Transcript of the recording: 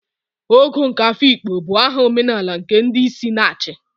Ogo nke Afikpo bụ aha omenala nke ndi isi na-achi.